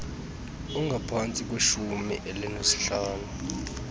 ongaphantsi kweshumi elinesihlanu